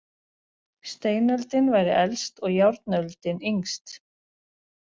Steinöldin væri elst og járnöldin yngst.